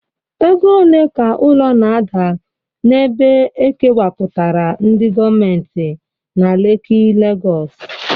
Ego ole ka ụlọ na-ada n'ebe e kewapụtara ndị gọọmentị na Leki, Lagọs?